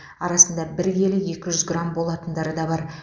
арасында бір келі екі жүз грамм болатындары да бар